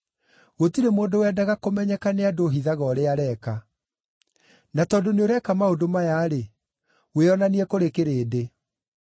Gũtirĩ mũndũ wendaga kũmenyeka nĩ andũ ũhithaga ũrĩa areeka. Na tondũ nĩũreeka maũndũ maya-rĩ, wĩonanie kũrĩ kĩrĩndĩ.”